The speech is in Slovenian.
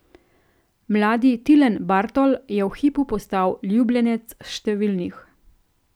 Mladi Tilen Bartol je v hipu postal ljubljenec številnih.